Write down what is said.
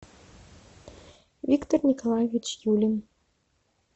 виктор николаевич юлин